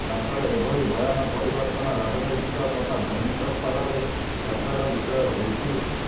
ତାଙ୍କର ଏଭଳି ବୟାନ ପରିବର୍ତ୍ତନ ରାଜନୈତିକ ତଥା ଧାର୍ମିକସ୍ତରରେ ଚର୍ଚ୍ଚାର ବିଷୟ ହୋଇଛି